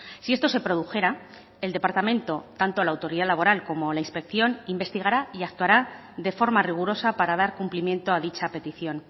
si esto se produjera el departamento tanto la autoridad laboral como la inspección investigará y actuará de forma rigurosa para dar cumplimiento a dicha petición